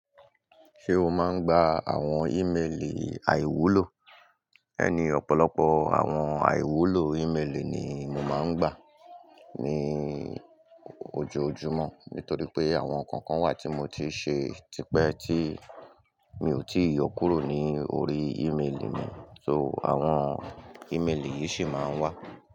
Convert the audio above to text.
Ṣé o máa ń gba àwọn ímeèlì àìwúlò? Ẹ ni, ọ̀pọ̀lọpọ̀ àwọn àìwúlò ímeèlì ni mo máa ń gba ní ojoojúmọ́, nítorí pé àwọn kọ̀ọ̀kan wà tí mo ti ṣe tipẹ́ tí mi ò tíì yọ kúrò ní orí ímeèlì mi, so àwọn ímeèlì yìí ṣì máa ń wá.